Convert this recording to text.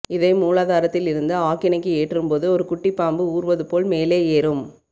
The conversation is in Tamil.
இதை மூலாதாரத்தில் இருந்து ஆக்கினைக்கு ஏற்றும் போது ஒரு குட்டிப்பாம்பு ஊர்வது போல் மேலே ஏறும்